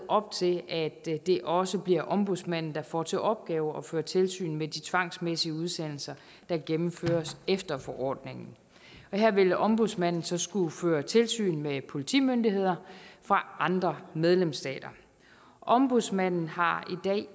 op til at det også bliver ombudsmanden der får til opgave at føre tilsyn med de tvangsmæssige udsendelser der gennemføres efter forordningen her vil ombudsmanden så skulle føre tilsyn med politimyndigheder fra andre medlemsstater ombudsmanden har